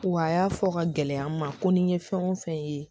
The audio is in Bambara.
Wa a y'a fɔ ka gɛlɛya n ma ko ni n ye fɛn o fɛn ye